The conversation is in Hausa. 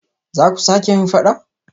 Zaku sake yin fada?